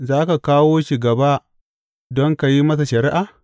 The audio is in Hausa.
Za ka kawo shi gaba don ka yi masa shari’a?